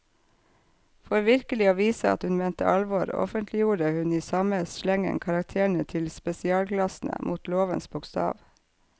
For virkelig å vise at hun mente alvor, offentliggjorde hun i samme slengen karakterene til spesialklassene, mot lovens bokstav.